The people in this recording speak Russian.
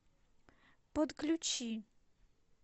подключи